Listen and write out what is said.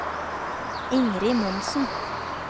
Ingrid Monsen